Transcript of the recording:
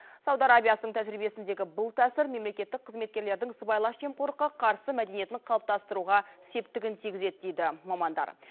сауд арабиясының тәжірибесіндегі бұл тәсіл мемлекеттік қызметкерлердің сыбайлас жемқорлыққа қарсы мәдениетін қалыптастыруға септігін тигізеді дейді мамандар